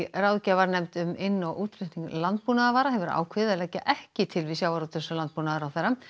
ráðgjafarnefnd um inn og útflutning landbúnaðarvara hefur ákveðið að leggja ekki til við sjávarútvegs og landbúnaðarráðherra